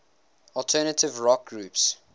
alternative rock groups